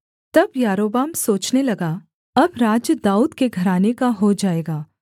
तब यारोबाम सोचने लगा अब राज्य दाऊद के घराने का हो जाएगा